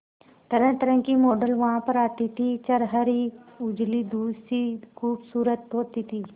तरहतरह की मॉडल वहां पर आती थी छरहरी उजली दूध सी खूबसूरत होती थी